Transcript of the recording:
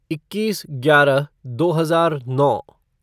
इक्कीस ग्यारह दो हजार नौ